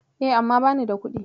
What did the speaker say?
E, amma bani da kuɗi.